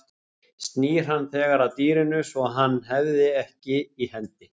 Snýr hann þegar að dýrinu svo að hann hafði ekki í hendi.